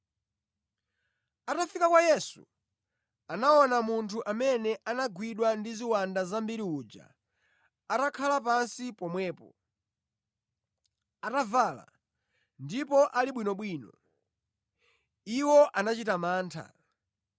Atafika kwa Yesu, anaona munthu amene anagwidwa ndi ziwanda zambiri uja atakhala pansi pomwepo, atavala, ndipo ali bwinobwino. Iwo anachita mantha.